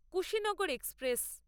Kushinagar express